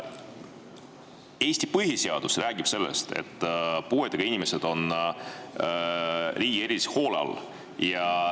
Eesti põhiseadus räägib sellest, et puuetega inimesed on riigi erilise hoole all.